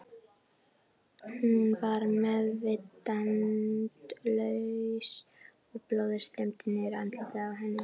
Hún var meðvitundarlaus og blóðið streymdi niður andlitið á henni.